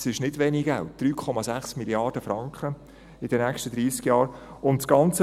Das ist nicht wenig Geld, 3,6 Mrd. Franken in den nächsten dreissig Jahren.